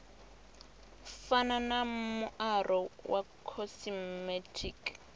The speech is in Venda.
fana na muaro wa khosimetiki